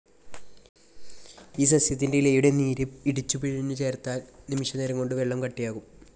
ഈ സസ്യത്തിൻ്റെ ഇലയുടെ നീര് ഇടിച്ചുപിഴിഞ്ഞു ചേർത്താൽ നിമിഷനേരംകൊണ്ട് വെള്ളം കട്ടിയാകും.